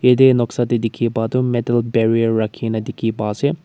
ede noksa de dikhi pa tu metal barrier rakhi gina dikhi pa ase.